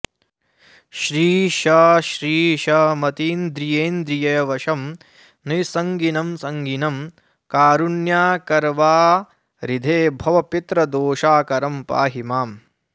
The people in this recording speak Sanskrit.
श्रीशाश्रीशमतीन्द्रियेन्द्रियवशं निस्सङ्गिनं सङ्गिनं कारुण्याकरवारिधे भव पितर्दोषाकरं पाहि माम्